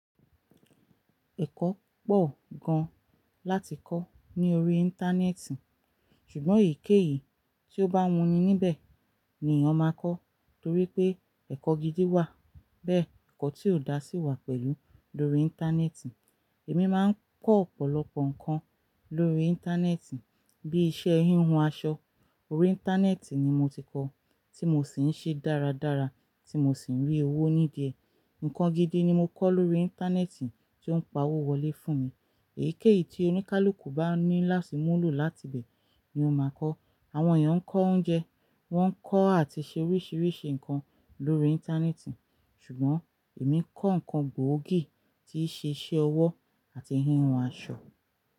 Ẹ̀kọ́ pọ̀ gan láti kọ́ ní orí Íńtánẹ́ẹ̀tì, ṣùgbọ́n èyíkéyìí tí ó bá wuni níbẹ̀ ni èèyàn máa kọ́. Torí pé ẹ̀kọ́ gidi wà, bẹ́ẹ̀ ẹ̀kọ́ tí ò dá sí wà pẹ̀lú lórí Íńtánẹ́ẹ̀tì. Èmi máa ń kọ́ ọ̀pọ̀lọpọ̀ nǹkan lórí Íńtánẹ́ẹ̀tì, bí ìṣe híhun aṣọ. Orí Íńtánẹ́ẹ̀tì ni mo ti kọ́, tí mo sì ń ṣe dáradára, tí mo sì ń rí owó ní idíẹ̀. Ǹǹkan gidi ni mo kọ́ lórí Íńtánẹ́ẹ̀tì tí ó ń pa owó wọlé fún mi. Èyíkéyìí tí oníkálukú bá ní láàsì mú lò láti bẹ̀ ni ó máa kọ́. Àwọn èèyàn ń kọ oúnjẹ, wọ́n ń kọ́ àti ṣe oríṣiríṣi nǹkan lórí Íńtánẹ́ẹ̀tì. Ṣùgbọ́n èmi kọ́ nǹkan gbòógì tí í ṣe iṣẹ́ ọwọ́ àti híhun aṣọ.